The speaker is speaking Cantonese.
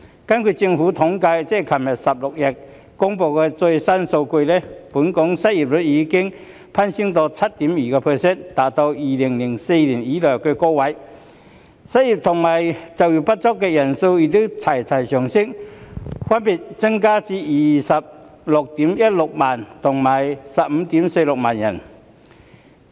根據政府統計處3月16日公布的最新數據，本港失業率已攀升至 7.2%， 達到2004年以來的高位，失業及就業不足的人數亦一同上升，分別增至 261,600 人及 154,600 人。